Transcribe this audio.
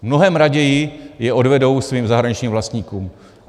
Mnohem raději je odvedou svým zahraničním vlastníkům.